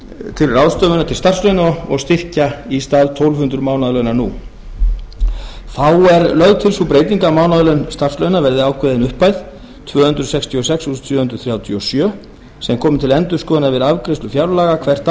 til ráðstöfunar til starfslauna og styrkja í stað tólf hundruð mánaðarlauna nú þá er lögð til sú breyting að mánaðarlaun starfslauna verði ákveðin upphæð tvö hundruð sextíu og sex þúsund sjö hundruð þrjátíu og sjö krónur sem komi til endurskoðunar við afgreiðslu fjárlaga hvert